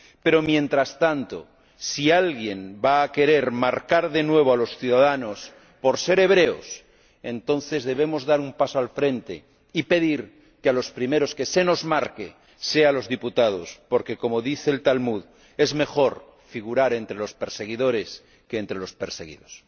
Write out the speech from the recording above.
Pero, mientras tanto, si alguien va a querer marcar de nuevo a los ciudadanos por ser hebreos, entonces debemos dar un paso al frente y pedir que a los primeros que se nos marque sea a los diputados, porque, como dice el Talmud, es mejor figurar entre los perseguidos que entre los perseguidores.